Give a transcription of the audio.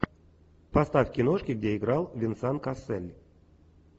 поставь киношки где играл венсан кассель